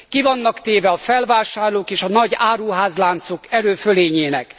Ki vannak téve a felvásárlók és a nagy áruházláncok erőfölényének.